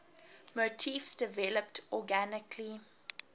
motifs developed organically